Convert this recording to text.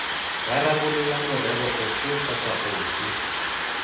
rarabolola morero ofe kgotsa ofe